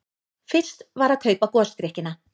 Fyrst var að kaupa gosdrykkina.